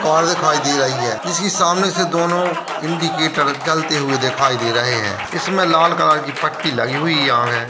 Car दिखाई दे रही है जिसके सामने से दोनो इंडिकेटर जलते हुए दिखाई दे रहे हैं इसमें लाल कलर की पट्टी लगी हुई है यहां है।